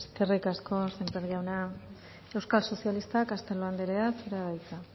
eskerrik asko sémper jauna euskal sozialistak castelo anderea zurea da hitza